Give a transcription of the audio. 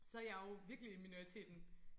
Så jeg jo virkelig minoriteten